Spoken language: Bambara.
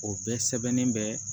O bɛɛ sɛbɛnnen bɛ